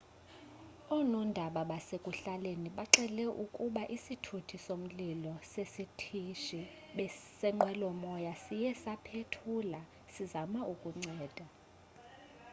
oonondaba basekuhlaleni bxele ukuba isithuthi somlilo sesitishi senqwelomoya siye saphethuka sisazama ukunceda